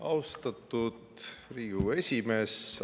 Austatud Riigikogu esimees!